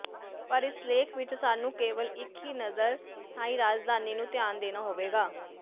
ਪਰ ਇਸ ਲੇਖ ਵਿਚ ਸਾਨੂੰ ਕੇਵਲ ਇੱਕ ਹੀ ਨਜ਼ਰ ਥਾਈ ਰਾਜਧਾਨੀ ਨੂੰ ਧਿਆਨ ਦੇਣਾ ਹੋਵੇਗਾ